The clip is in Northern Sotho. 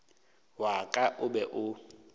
wa ka o be o